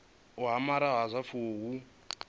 u amara ha zwifuwo hu